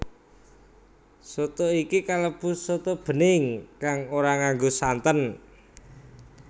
Soto iki kalebu soto bening kang ora nganggo santen